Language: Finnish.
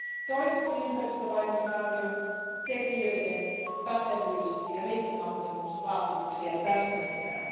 Toiseksi ympäristövaikutusarvion tekijöiden pätevyys ja riippumattomuusvaatimuksia täsmennetään.